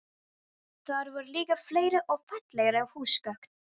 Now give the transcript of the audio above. Þar voru líka fleiri og fallegri húsgögn.